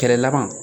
Kɛlɛlama